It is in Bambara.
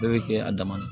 Bɛɛ bɛ kɛ a dama na